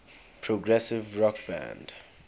progressive rock band